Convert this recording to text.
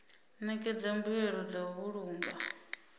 ṋekedza mbuelo dza u vhulunga